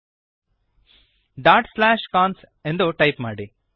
cons dot slash cons ಎಂದು type ಮಾಡಿರಿ